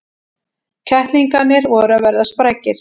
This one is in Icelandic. Kettlingarnir voru að verða sprækir.